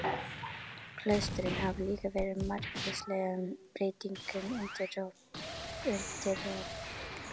Klaustrin hafa líka verið margvíslegum breytingum undirorpin.